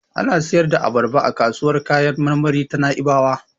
Ana siyar da abarba a kasuwar kayan marmari ta Na'ibawa.